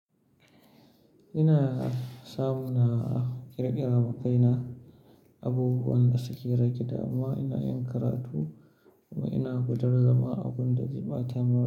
Ina samu na ƙirƙira ma kaina abubuwan da suke rage damuwa. Ina yin karatu kuma ina gudar da ma abun da zai ɓata min.